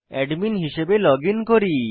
admin হিসাবে login করি